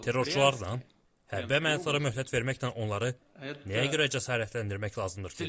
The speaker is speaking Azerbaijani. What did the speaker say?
Terrorçularla, hərbi əməliyyatlara möhlət verməklə onları nəyə görə cəsarətləndirmək lazımdır ki?